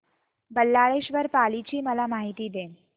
बल्लाळेश्वर पाली ची मला माहिती दे